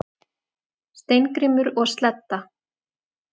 Steingrímur og Sledda,